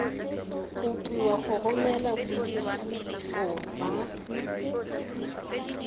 kopiwa go romela boitshupo ba